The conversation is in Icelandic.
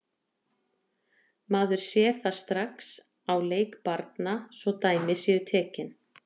Maður sér það strax á leik barna, svo dæmi sé tekið.